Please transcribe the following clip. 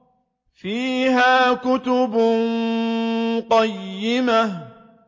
فِيهَا كُتُبٌ قَيِّمَةٌ